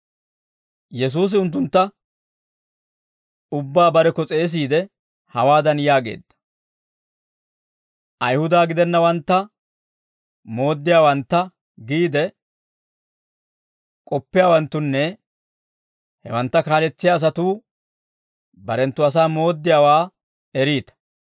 Yesuusi unttuntta ubbaa barekko s'eesiide, hawaadan yaageedda; « ‹Ayihuda gidennawantta mooddiyaawantta› giide k'oppiyaawanttunne hewantta kaaletsiyaa asatuu barenttu asaa mooddiyaawaa eriita.